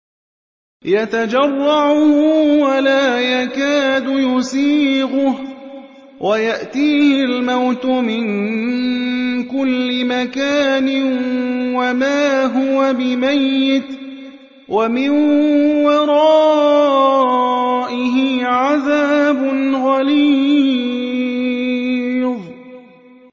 يَتَجَرَّعُهُ وَلَا يَكَادُ يُسِيغُهُ وَيَأْتِيهِ الْمَوْتُ مِن كُلِّ مَكَانٍ وَمَا هُوَ بِمَيِّتٍ ۖ وَمِن وَرَائِهِ عَذَابٌ غَلِيظٌ